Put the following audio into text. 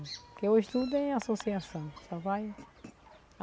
Porque hoje tudo é associação. Só vai